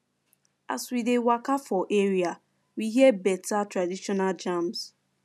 as we dey waka for area we hear beta traditional jams